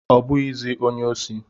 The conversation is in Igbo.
Ọ bụghịzị onye osi.